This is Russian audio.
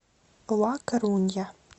ла корунья